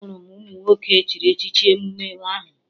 Ahụrụ m ụmụ nwoke echiri echichi n'emume ahụ